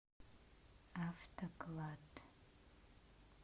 автоклад